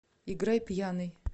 играй пьяный